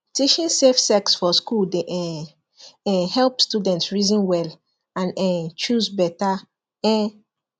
teaching safe sex for school dey um um help students reason well and um choose better um